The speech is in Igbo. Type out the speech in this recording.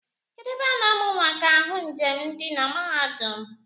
Kedu ebe a na-amụ maka ahụ njem di na mahadum?